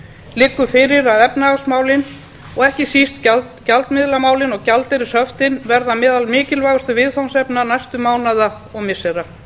liggur fyrir að efnahagsmálin og ekki síst gjaldmiðlamálin og gjaldeyrishöftin verða meðal mikilvægustu viðfangsefna næstu mánaða og missira